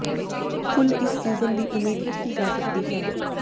ਫੁੱਲ ਇਸ ਸੀਜ਼ਨ ਦੀ ਉਮੀਦ ਕੀਤੀ ਜਾ ਸਕਦੀ ਹੈ